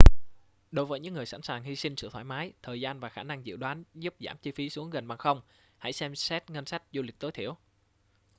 đối với những người sẵn sàng hy sinh sự thoải mái thời gian và khả năng dự đoán giúp giảm chi phí xuống gần bằng không hãy xem xét ngân sách du lịch tối thiểu